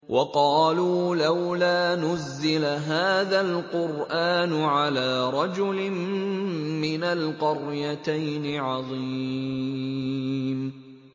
وَقَالُوا لَوْلَا نُزِّلَ هَٰذَا الْقُرْآنُ عَلَىٰ رَجُلٍ مِّنَ الْقَرْيَتَيْنِ عَظِيمٍ